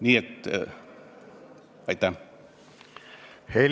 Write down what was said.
Nii et aitäh!